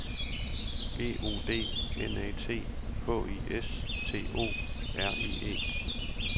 G O D N A T H I S T O R I E